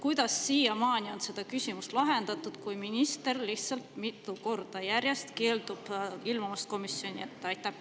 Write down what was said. Kuidas siiamaani on lahendatud seda küsimust, kui minister mitu korda järjest lihtsalt keeldub komisjoni ilmumast?